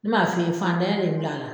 N bɛ na f' i ye, fantanyan de ye n bila a la.